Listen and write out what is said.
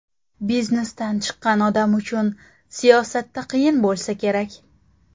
Biznesdan chiqqan odam uchun siyosatda qiyin bo‘lsa kerak?